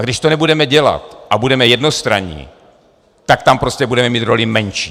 A když to nebudeme dělat a budeme jednostranní, tak tam prostě budeme mít roli menší.